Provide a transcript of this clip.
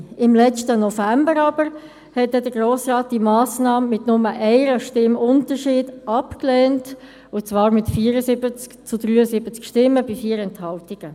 Im letzten November aber lehnte der Grosse Rat diese Massnahme mit nur einer Stimme Unterschied ab, und zwar mit 74 zu 73 Stimmen bei 4 Enthaltungen.